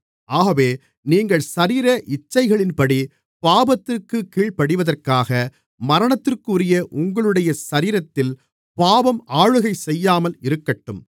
ஆகவே நீங்கள் சரீர இச்சைகளின்படி பாவத்திற்குக் கீழ்ப்படிவதற்காக மரணத்திற்குரிய உங்களுடைய சரீரத்தில் பாவம் ஆளுகை செய்யாமல் இருக்கட்டும்